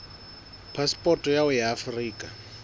phasepoto ya hao ya afrika